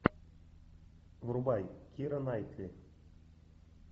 врубай кира найтли